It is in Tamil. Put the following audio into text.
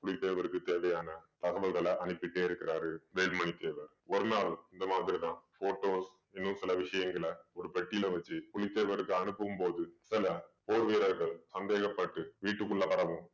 புலி தேவருக்கு தேவையான தகவல்கள அனுப்பிட்டே இருக்கிறாரு வேல்மணி தேவர் ஒரு நாள் இந்த மாதிரிதான் photos இன்னும் சில விஷயங்களை ஒரு பெட்டியில வச்சு புலித்தேவருக்கு அனுப்பும் போது சில போர் வீரர்கள் சந்தேகப்பட்டு வீட்டுக்குள்ள வரவும்